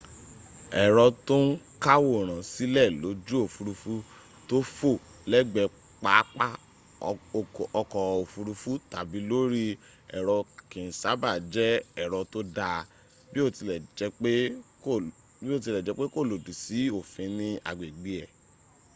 ẹ̀rọ tó ń káwòrán sílẹ̀ lójú òfúrufú tó fò lẹ̀gbẹ́ pápá ọkọ̀ òfurufu tàbi lórí èrò kì n sábà jẹ́ èrò tó dáa biotilejepe kò lòdì sí òfin ní agbègbè ę